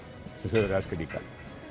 sem Þjóðverjar elska líka